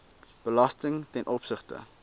belasting ten opsigte